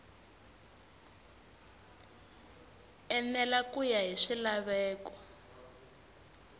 enela ku ya hi swilaveko